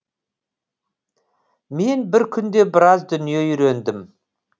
мен бір күнде біраз дүние үйрендім